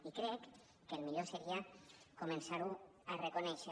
i crec que el millor seria començar ho a reconèixer